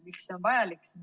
Miks see on vajalik?